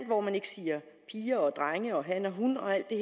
hvor man ikke siger piger og drenge og han og hun og alt det